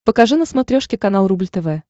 покажи на смотрешке канал рубль тв